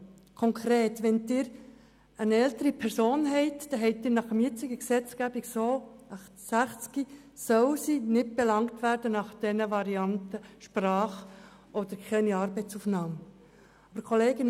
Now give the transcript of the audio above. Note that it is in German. Konkret: Wenn Sie eine ältere Person von 60 Jahren haben, dann soll sie nach der jetzigen Gesetzgebung aufgrund mangelnder Sprachkenntnisse oder Arbeitsaufnahme nicht belangt werden.